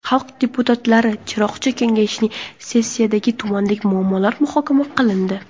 Xalq deputatlari Chiroqchi Kengashining sessiyasida tumandagi muammolar muhokama qilindi.